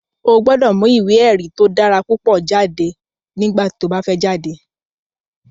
O gbọ́dọ̀ mu ìwé èrí tó dára púpọ̀ jáde nígbà tí o bá fẹ́ jáde